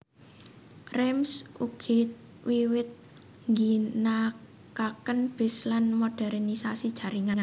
Reims ugi wiwit ngginakaken bis lan modérnisasi jaringan